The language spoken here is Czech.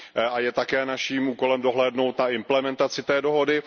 A je také naším úkolem dohlédnout na implementaci té dohody.